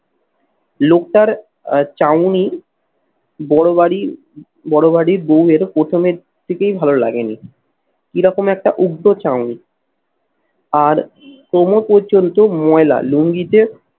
লোকটার আহ চাউনি বড় বাড়ি বড় বাড়ি বৌ এর প্রথমের থেকেই ভালো লাগেনি এরকম একটা উগ্র চাউনি। আর কোমর পর্যন্ত ময়লা লুঙ্গিতে